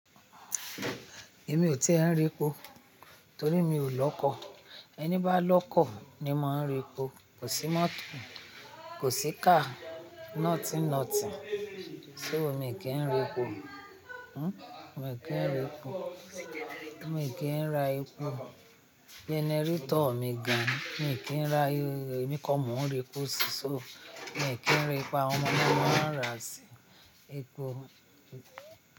Èmi ò tí e ń r'epo torí mi ò lọ́kọ̀. Ẹni bá lọ́kọ̀ ni máa ń r'epo. Kò sí mọ́tò, kò sí car, nothing nothing. So, mi kì í ra epo. Hm? Mi kì í ra epo. Mi kì í ra epo. Generator mi gan. Mi kì í ra, ẹmi koni mọ̀ ń r'epo sí so. Mi kì í ra epo, awon ọmọ náa mo ń rà sí epo.